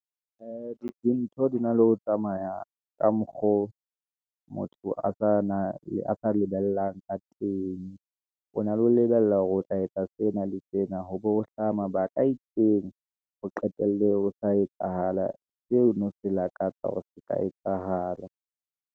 Ee, di ntho na le ho tsamaya ka mokgo oo motho a sa lebellwang ka teng, o na le ho lebella hore o tla etsa sena le sena, hoba ho hlaha mabaka a itseng, ho qetelle o sa etsahala, seo o neng o se lakatsa be se sa etsahala.